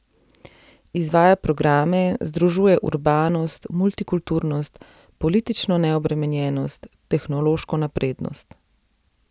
Izvaja programe, združuje urbanost, multikulturnost, politično neobremenjenost, tehnološko naprednost.